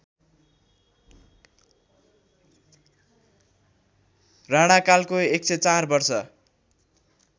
राणाकालको १०४ वर्ष